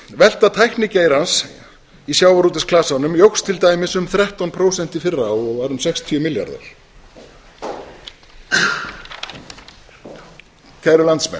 velta tæknigeirans í sjávarútvegsklasanum jókst til dæmis um þrettán prósent í fyrra og var um sextíu milljarðar kæru landsmenn